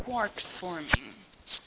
quarks forming